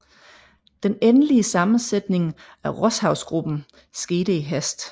Den endelige sammensætning af Rosshavsgruppen skete i hast